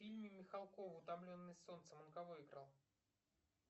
в фильме михалкова утомленные солнцем он кого играл